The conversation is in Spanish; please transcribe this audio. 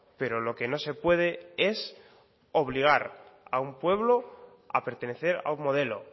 pero lo que no se puede es obligar a un pueblo a pertenecer a un modelo